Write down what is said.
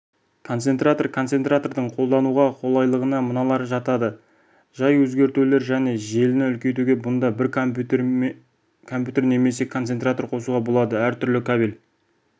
концентратор концентратордың қолдануға қолайлылығына мыналар жатады жай өзгертулер және желіні үлкейту бұнда бір компьютер немесе концентратор қосуға болады әртүрлі кабель